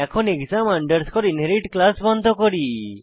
এখন exam underscore inherit class বন্ধ করি